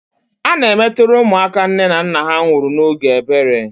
Ana emetere ụmụaka nne na nna ha nwụrụ n' ógè ebere.